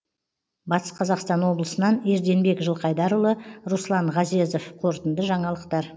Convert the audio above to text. батыс қазақстан облысынан ерденбек жылқайдарұлы руслан ғазезов қорытынды жаңалықтар